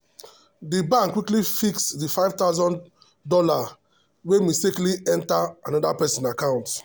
the bank quickly fix the five thousand dollars wey mistakenly enter another person account.